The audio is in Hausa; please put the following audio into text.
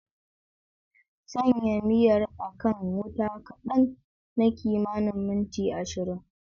Sanya miyar a kan wuta kadan na kimanin minti 20.